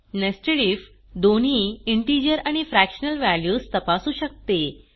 nested if दोन्ही integer आणि fractional values तपासू शकते